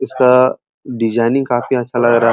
इसका डिजाइनिंग काफी अच्छा लग रहा है।